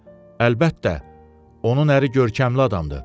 Əlbəttə, onun əri görkəmli adamdır.